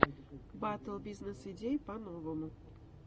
батл бизнес идей по новому